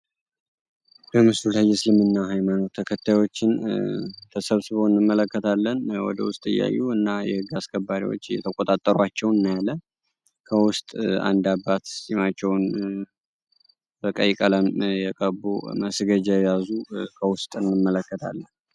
በምስሉ ላይ የዕስልምና ሀይማኖት ተከታዮችን ተሰብስበው እንመለከታለን። ወደ ውስጥ እያዩ እና የህግ አስከባሪዎች እየተቆጣጠሯቸው እንመለከታለን። አንድ አባት ፂማቸውን በቀይ ቀለም የቀቡ መስገጃ የያዙ ከውስጥ እንመለከታለን።